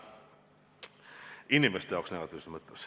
Inimeste jaoks on see negatiivne.